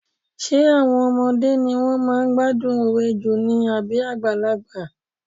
Ṣé àwọn ọmọdé ni wọ́n máa ń gbádùn òwe jù ni àbí àgbàlagbà?